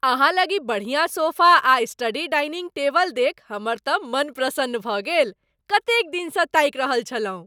अहाँलग ई बढ़िया सोफ़ा आ स्टडी डाइनिंग टेबल देखि हमर तँ मन प्रसन्न भऽ गेल, कतेक दिनसँ ताकि रहल छलहुँ।